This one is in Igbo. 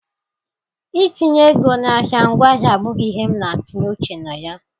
Itinye ego n'ahịa ngwaahịa abụghị ihe m n'etinye uche na ya.